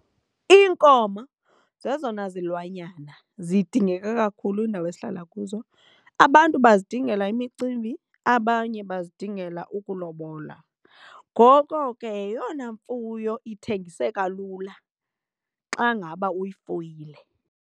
Iinkomo zezona zilwanyana zidingeka kakhulu kwiindawo esihlala kuzo. Abantu bazidingela imicimbi, abanye bazidingela ukulobola. Ngoko ke yeyona mfuyo ithengiseka lula xa ngaba uyifuyile.